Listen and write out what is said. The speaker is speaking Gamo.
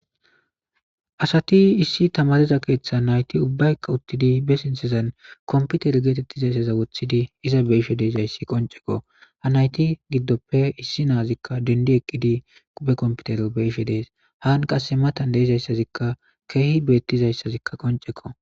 asati issi tamaariza keeththa nayti ubbayka uttidi be sinthezan komputeri geetettizayssaza wothidi iza be'ishe de'izayssi qonccekko. ha nayti giddoppe issi naazikka dendi eqqidi quphe komputer be'ishe dees. haan qasse matan deeizayssazikka keehi beettizayssazikka qoncekko.